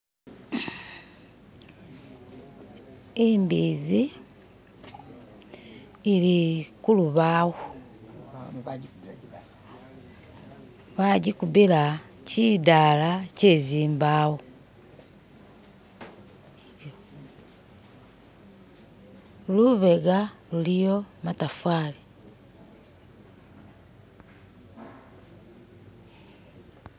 imbizi ili kulubawo bagikubila kiddala kyezimbawo lubega luliyo matafali.